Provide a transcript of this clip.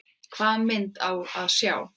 Hvaða mynd á að sjá?